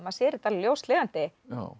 sér þetta alveg ljóslifandi